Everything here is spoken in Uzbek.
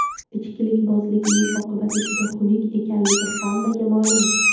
Ichkilikbozlikning oqibati juda xunuk ekanligi hammaga ma’lum.